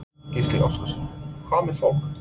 Gísli Óskarsson: Hvað með fólk?